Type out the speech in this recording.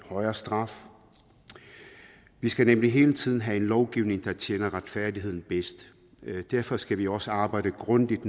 højere straf vi skal nemlig hele tiden have den lovgivning der tjener retfærdigheden bedst derfor skal vi også arbejde grundigt